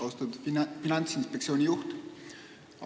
Austatud Finantsinspektsiooni juht!